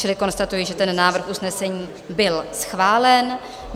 Čili konstatuji, že ten návrh usnesení byl schválen.